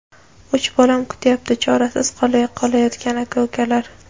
uch bolam kutyapti: chorasiz qolayotgan aka-ukalar.